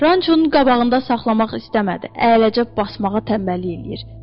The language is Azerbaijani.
Rançonun qabağında saxlamaq istəmədi, əyləcə basmağa tənbəllik eləyir.